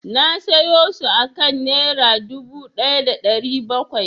Na sayo su akan Nera dubu ɗaya da ɗari bakwai.